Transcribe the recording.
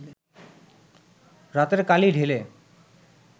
রাতের কালি ঢেলে